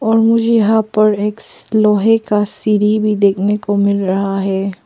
और मुझे यहां पर एक लोहे का सीढ़ी भी देखने को मिल रहा है।